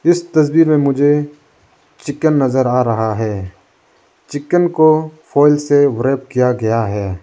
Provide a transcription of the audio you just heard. इस तस्वीर में मुझे चिकन नजर आ रहा है चिकन को फाल से किया गया है।